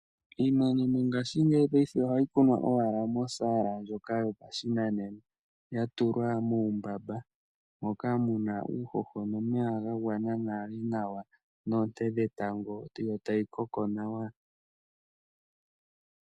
Iimeno mongashingeyi ohayi kunwa owala mosala ndjoka yopashinanena yatulwa mumbamba moka muna uuhoho nomeya ga gwana nawa nonte dhetango yo tayi koko nawa.